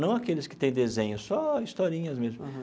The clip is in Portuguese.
Não aqueles que têm desenho, só historinhas mesmo.